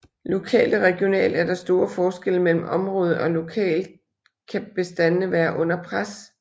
Lokalt og regionalt er der store forskelle mellem området og lokalt kan bestandene være under pres